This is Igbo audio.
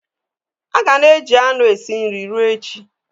A ga-ana eji anụ esi nri ruo echi.